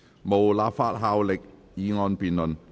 無立法效力的議案辯論。